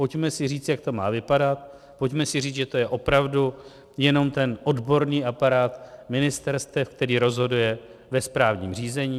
Pojďme si říct, jak to má vypadat, pojďme si říct, že to je opravdu jenom ten odborný aparát ministerstev, který rozhoduje ve správním řízení.